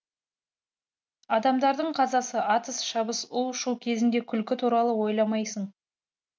адамдардың қазасы атыс шабыс у шу кезінде күлкі туралы ойламайсың